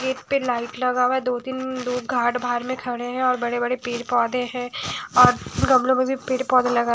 एक पे लाइट लगा हुआ है दो तीननन दो घाट भार में खड़े हैं और बड़े बड़े पेड़ पौधे हैं और गमलों में भी पेड़ पौधे लगा --